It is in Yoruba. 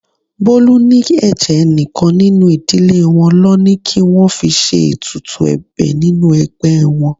Bolu ní ẹ̀jẹ̀ enikan nínú ìdílé wọn lọ ní kí wọ́n fi ṣe ètùtù ẹ̀bẹ̀ nínú ẹgbẹ́ wọn.